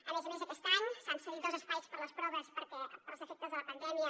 a més a més aquest any s’han cedit dos espais per a les proves perquè pels efectes de la pandèmia